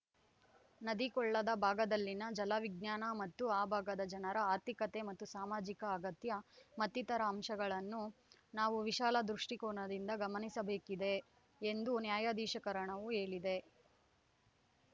ನದಿ ಕೊಳ್ಳದ ಭಾಗದಲ್ಲಿನ ಜಲ ವಿಜ್ಞಾನ ಮತ್ತು ಆ ಭಾಗದ ಜನರ ಆರ್ಥಿಕತೆ ಮತ್ತು ಸಾಮಾಜಿಕ ಅಗತ್ಯ ಮತ್ತಿತರ ಅಂಶಗಳನ್ನು ನಾವು ವಿಶಾಲ ದೃಷ್ಟಿಕೋನದಿಂದ ಗಮನಿಸಬೇಕಿದೆ ಎಂದು ನ್ಯಾಯಾಧಿಕರಣವು ಹೇಳಿದೆ